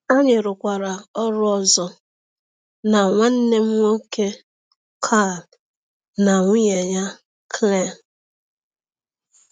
Anyị rụkwara ọrụ ọzọ na nwanne m nwoke Carl na nwunye ya, Claire.